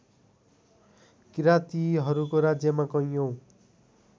किरातीहरूको राज्यमा कैयौँ